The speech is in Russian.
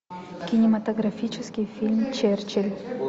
кинематографический фильм черчилль